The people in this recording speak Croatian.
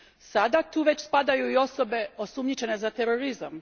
Sada tu već spadaju i osobe osumnjičene za terorizam.